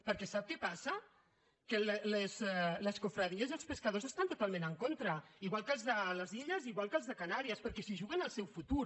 perquè sap què passa que les confraries i els pescadors hi estan totalment en contra igual que els de les illes i igual que els de canàries perquè s’hi juguen el seu futur